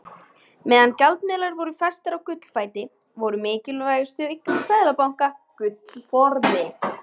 Meðan gjaldmiðlar voru flestir á gullfæti voru mikilvægustu eignir seðlabanka gullforði.